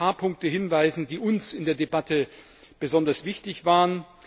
Ich will auf ein paar Punkte hinweisen, die uns in der Debatte besonders wichtig waren.